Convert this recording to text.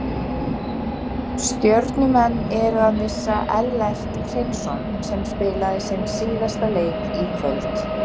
Stjörnumenn eru að missa Ellert Hreinsson sem spilaði sinn síðasta leik í kvöld.